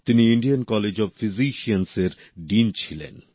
তিনি Indian College of Physicians এর dean ছিলেন